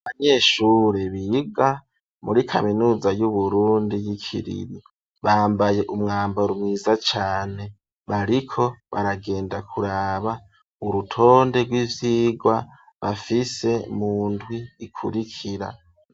Abanyeshuri biga muri kaminuza y'Uburundi y'Ikiriri, bambaye umwambaro mwiza cane, bariko baragenda kuraba urutonde rw'ivyigwa bafise mu ndwi ikurikira.